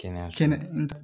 Kɛnɛya kɛnɛ kɛnɛ